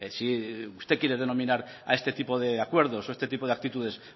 si usted quiere denominar a este tipo de acuerdos o este tipo de actitudes